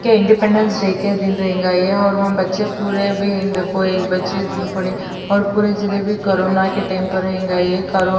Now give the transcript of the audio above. کے independence day کے دن رہینگا یہ اور وہاں بچھے پورے بھی ان دیکھو ایک بچھے پورے اور پورے جنہے بھی کورونا کے ٹائم پر رہینگا یہ، کرو --